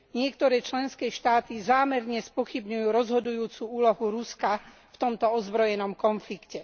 Niektoré členské štáty zámerne spochybňujú rozhodujúcu úlohu Ruska v tomto ozbrojenom konflikte.